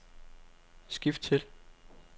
skift til